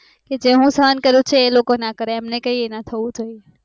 જે હું શાના કરું છે એ લોકો ના કરે એમને કાય ના થવું જોઈ